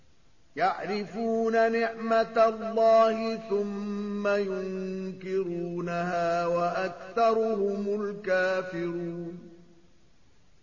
يَعْرِفُونَ نِعْمَتَ اللَّهِ ثُمَّ يُنكِرُونَهَا وَأَكْثَرُهُمُ الْكَافِرُونَ